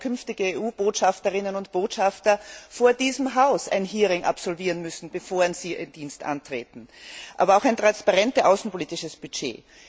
werden künftige EU Botschafterinnen und Botschafter vor diesem Haus ein Hearing absolvieren müssen, bevor sie ihren Dienst antreten aber auch ein transparentes außenpolitisches Budget.